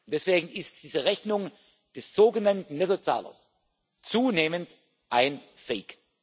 Deswegen ist diese Rechnung des sogenannten Nettozahlers zunehmend ein fake